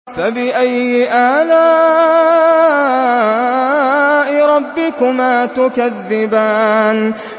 فَبِأَيِّ آلَاءِ رَبِّكُمَا تُكَذِّبَانِ